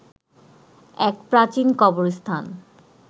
এক প্রাচীন কবরস্থান